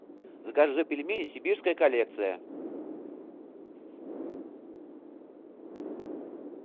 закажи пельмени сибирская коллекция